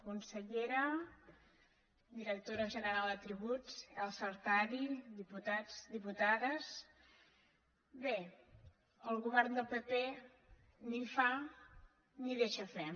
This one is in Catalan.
consellera directora ge·neral de tributs elsa artadi diputats diputades bé el govern del pp ni fa ni deixa fer